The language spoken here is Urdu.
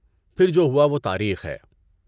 پھر جو ہوا وہ تاریخ ہے!